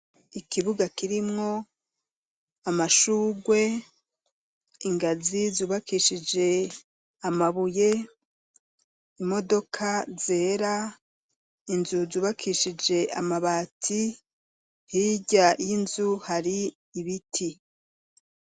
Ikibuga kirimwo amashurwe ,ingazi zubakishije amabuye, imodoka zera, inzu zubakishije amabati, hirya y'inzu hari ibiti.